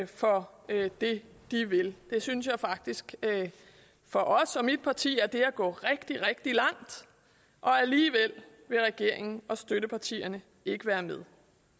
for det de vil det synes jeg faktisk for os og mit parti er at gå rigtig rigtig langt alligevel vil regeringen og støttepartierne ikke være med